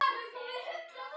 En ekki kom til átaka.